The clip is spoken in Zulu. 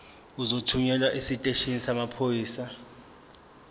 uzothunyelwa esiteshini samaphoyisa